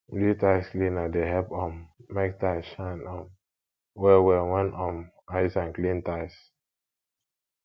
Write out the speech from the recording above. blew tiles cleaner dey help um mek tiles shine um well well when um i use am clean tiles